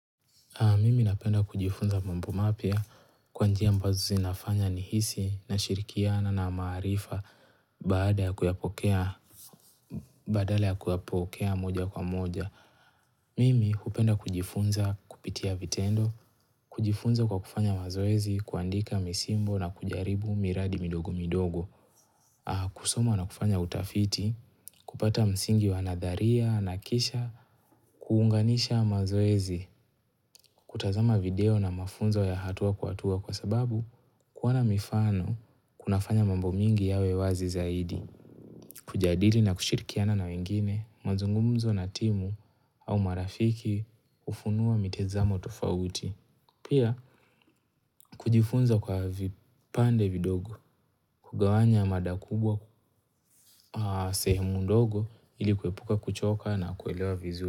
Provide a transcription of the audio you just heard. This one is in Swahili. Mimi napenda kujifunza mambo mapya kwa njia ambazo zinafanya nihisi nashirikiana na maarifa bada kuyapokea, badala ya kuyapokea moja kwa moja. Mimi hupenda kujifunza kupitia vitendo, kujifunza kwa kufanya mazoezi, kuandika misimbo na kujaribu miradi midogo midogo, kusoma na kufanya utafiti, kupata msingi wa nadharia na kisha, kuunganisha mazoezi kutazama video na mafunzo ya hatua kuatua kwa sababu kuona mifano kunafanya mambo mingi yawe wazi zaidi Kujadili na kushirikiana na wengine mazungumzo na timu au marafiki hufunua mitizamo tofauti Pia kujifunza kwa vipande vidogo kugawanya mada kubwa sehemu ndogo ili kuepuka kuchoka na kuelewa vizu.